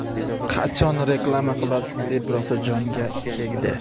qachon reklama qilasiz deb rosa jonga tegdi..